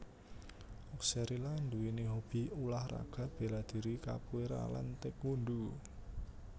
Oxcerila nduwèni hobi ulah raga béladhiri capoeira lan taékwondo